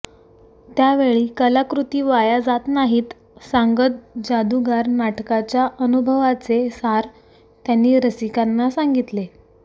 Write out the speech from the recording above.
त्यावेळी कलाकृती वाया जात नाहीत सांगत जादूगार नाटकाच्या अनुभवाचे सार त्यांनी रसिकांना सांगितले